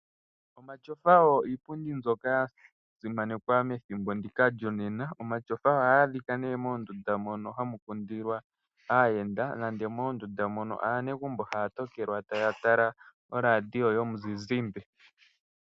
Omatyofa oyo iipundi mbyoka ya simanekwa methimbo ndika lyonena. Omatyofa ohaga adhika nee moondundu moka hamu kundilwa aayenda nege moondunda mono aanegumbo haya tokelwa taya tala oradio yomuzizimba.